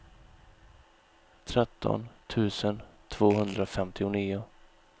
tretton tusen tvåhundrafemtionio